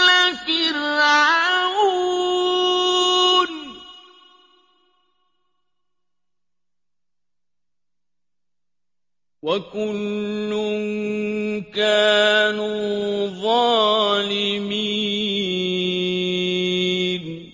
آلَ فِرْعَوْنَ ۚ وَكُلٌّ كَانُوا ظَالِمِينَ